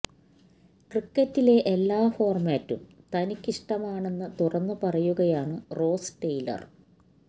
ക്രിക്കറ്റിലെ എല്ലാ ഫോര്മാറ്റും തനിക്കിഷ്ടമാണെന്ന് തുറന്നു പറയുകയാണ് റോസ് ടെയിലര്